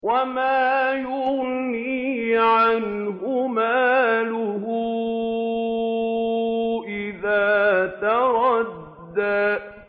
وَمَا يُغْنِي عَنْهُ مَالُهُ إِذَا تَرَدَّىٰ